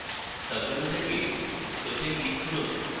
সাবmenu থেকে show তে click করুন